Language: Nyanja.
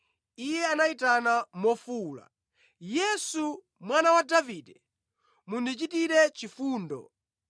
Iye anayitana mofuwula, “Yesu Mwana wa Davide, mundichitire chifundo!”